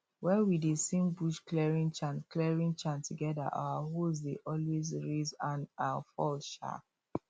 wen we dey sing bush clearing chant clearing chant together our hoes dey always rise and um fall um